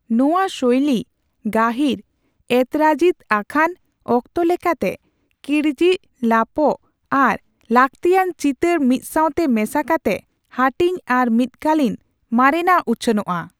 ᱱᱚᱣᱟ ᱥᱳᱭᱞᱤ, ᱜᱟᱦᱤᱨ ᱮᱛᱚᱨᱟᱡᱤᱛ ᱟᱠᱷᱟᱱ, ᱚᱠᱛᱚ ᱞᱮᱠᱟᱛᱮ ᱠᱤᱡᱽᱲᱤᱡ ᱞᱟᱯᱚᱜ ᱟᱨ ᱞᱟᱹᱠᱛᱤᱭᱟᱱ ᱪᱤᱛᱟᱹᱨ ᱢᱤᱫᱥᱟᱣᱛᱮ ᱢᱮᱥᱟ ᱠᱟᱛᱮᱜ ᱦᱟᱹᱴᱤᱧ ᱟᱨ ᱢᱤᱫᱠᱟᱞᱤᱱ ᱢᱟᱨᱮᱱᱟᱜ ᱩᱪᱷᱟᱹᱱᱚᱜ ᱟ ᱾